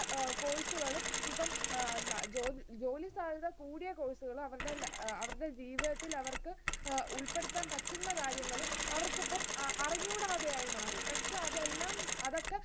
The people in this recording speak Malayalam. course കളും ഇപ്പൊ ഉം ജോലി സാധ്യത കൂടിയ course കളും അവരുടെ അഹ് ജീവിതത്തിൽ അവർക്ക് ഉൾപ്പെടുത്താൻ പറ്റുന്ന കാര്യങ്ങൾ അവർക്കിപ്പം അറിഞ്ഞുകൂടാതായി മാറി. പക്ഷേ അതെല്ലാം അവർക്ക്